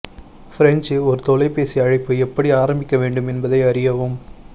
பிரஞ்சு ஒரு தொலைபேசி அழைப்பு எப்படி ஆரம்பிக்க வேண்டும் என்பதை அறியவும்